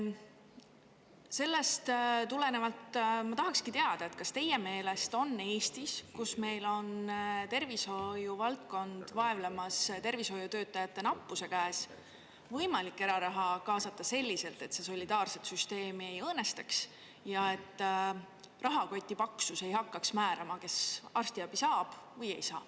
Seetõttu ma tahaksin teada, kas teie meelest on Eestis, kus tervishoiuvaldkond vaevleb tervishoiutöötajate nappuse käes, võimalik kaasata eraraha selliselt, et see solidaarset süsteemi ei õõnestaks ja et rahakoti paksus ei hakkaks määrama, kes arstiabi saab või ei saa.